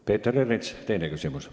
Peeter Ernits, teine küsimus.